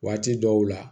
Waati dɔw la